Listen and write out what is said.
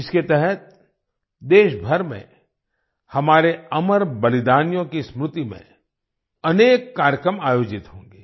इसके तहत देशभर में हमारे अमर बलिदानियों की स्मृति में अनेक कार्यक्रम आयोजित होंगे